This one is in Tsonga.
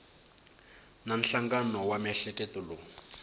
na nhlangano wa miehleketo lowu